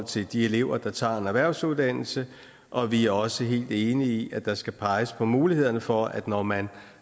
til de elever der tager en erhvervsuddannelse og vi er også helt enige i at der skal peges på mulighederne for at når man